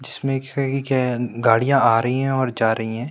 जिसमे गाड़ियां आ रही है और जा रही है।